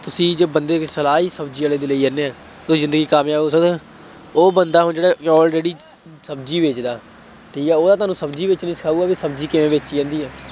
ਤੁਸੀਂ ਜੋ ਬੰਦੇ ਦੀ ਸਲਾਹ ਹੀ ਸ਼ਬਜ਼ੀ ਵਾਲੇ ਦੀ ਲਈ ਜਾਂਦੇ ਹੋ, ਉਹ ਜ਼ਿੰਦਗੀ ਚ ਕਾਮਯਾਬ ਹੋ ਸਕਦਾ, ਉਹ ਬੰਦਾ ਹੁਣ ਜਿਹੜਾ ਚੌਲ ਰੇਹੜੀ ਸ਼ਬਜ਼ੀ ਵੇਚਦਾ ਠੀਕ ਹੈ ਉਹ ਤਾਂ ਤੁਹਾਨੂੰ ਸ਼ਬਜ਼ੀ ਵੇਚਣੀ ਸਿਖਾਊਗਾ, ਕਿ ਸ਼ਬਜ਼ੀ ਕਿਵੇਂ ਵੇਚੀ ਜਾਂਦੀ ਹੈ।